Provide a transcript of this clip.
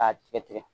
K'a tigɛ tigɛ